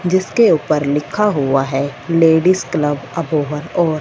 जिसके ऊपर लिखा हुआ है लेडिस क्लब अप ओवर और--